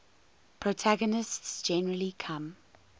protagonists generally come